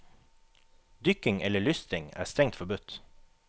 Dykking eller lystring er strengt forbudt.